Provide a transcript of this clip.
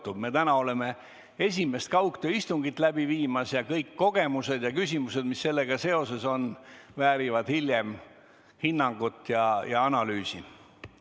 Me viime täna läbi esimest kaugtööistungit ja kõik kogemused ja küsimused, mis sellega seoses on, väärivad hiljem hinnangut ja analüüsi.